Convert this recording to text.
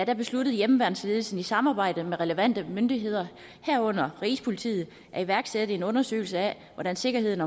besluttede hjemmeværnsledelsen i samarbejde med relevante myndigheder herunder rigspolitiet at iværksætte en undersøgelse af hvordan sikkerheden